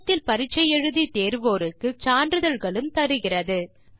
இணையத்தில் பரிட்சை எழுதி தேர்வோருக்கு சான்றிதழ்களும் தருகிறது